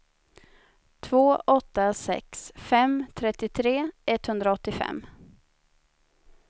två åtta sex fem trettiotre etthundraåttiofem